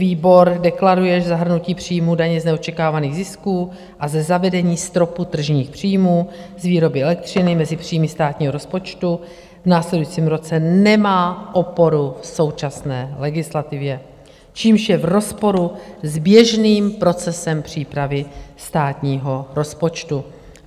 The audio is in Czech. Výbor deklaruje, že zahrnutí příjmů daně z neočekávaných zisků a ze zavedení stropu tržních příjmů z výroby elektřiny mezi příjmy státního rozpočtu v následujícím roce nemá oporu v současné legislativě, čímž je v rozporu s běžným procesem přípravy státního rozpočtu.